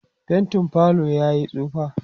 faintin falo yayi tsufa